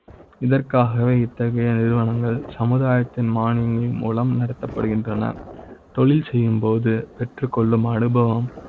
இதற்காக வே இத்தகைய நிறுவனங்கள் சமுதாய த்தின் மானிய ங்கள் மூலம் நடத்த ப்படுகின்றன தொழில் செய்யும் போது பெற்றுக் கொள்ளும் அனுபவம்